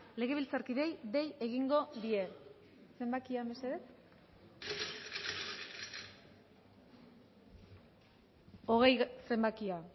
legebiltzarkideei dei egingo die zenbakia mesedez hogei zenbakia